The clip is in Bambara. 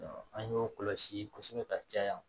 An y'o kɔlɔsi kosɛbɛ ka caya